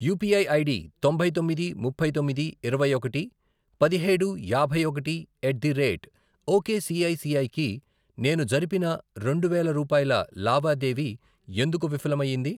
UPI ID తొంభై తొమ్మిది, ముప్పై తొమ్మిది, ఇరవై ఒకటి, పదిహేడు, యాభై ఒకటి, ఎట్ ది రేట్ ఒకేసిఐసిఐ కి నేను జరిపిన రెండు వేల రూపాయల లావాదేవీ ఎందుకు విఫలం అయ్యింది?